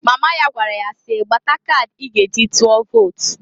Mama ya gwara ya si, "Gbata kadị i ga eji tụọ vot!"